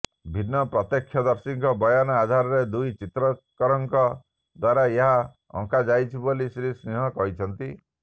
ଭିନ୍ନ ପ୍ରତ୍ୟକ୍ଷଦର୍ଶୀଙ୍କ ବୟାନ ଆଧାରରେ ଦୁଇ ଚିତ୍ରକରଙ୍କ ଦ୍ୱାରା ଏହା ଅଙ୍କାଯାଇଛି ବୋଲି ଶ୍ରୀ ସିଂହ କହିଛନ୍ତି